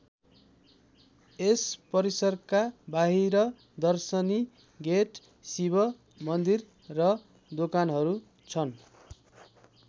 यस परिसरका बाहिर दर्शनी गेट शिव मन्दिर र दोकानहरू छन्।